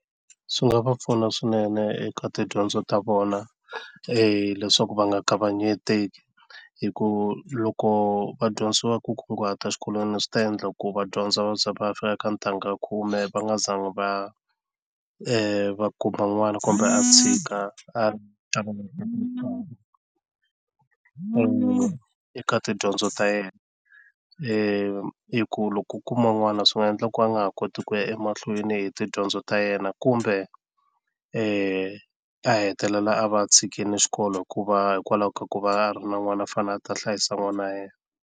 Swi nga va pfuna swinene eka tidyondzo ta vona leswaku va nga kavanyeteki hi ku loko va dyondzisiwa ku kunguhata xikolweni swi ta endla ku va dyondza vabya va ya fika ka ntangha ya khume va nga zanga va va kuma n'wana kumbe a tshika a munhu eka tidyondzo ta yena i ku loko u kuma n'wana swi nga endla ku a nga ha koti ku ya emahlweni tidyondzo ta yena kumbe a hetelela a va tshikini xikolo hikuva hikwalaho ka ku va a ri na n'wana a fanele a hlayisa n'wana wa yena.